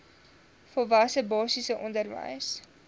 volwasse basiese onderwys